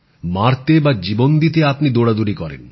মরতে বা জীবন দিতে আপনি দৌড়দৌড়ি করেন